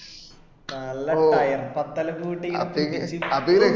നല്ല tyre പത്തല് കൂട്ടി ഇങ്ങനെ പിടിച്ചിട്ട്